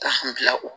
Ka bila o